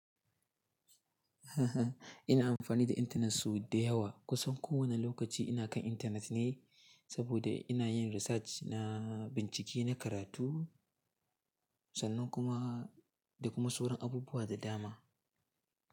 Ina amfani da intanet sau da yawa. Kusan kowane lokaci ina kan intanet ne saboda ina yin research na bincike, na karatu, sannan kuma da kuma sauran abubuwa da dama.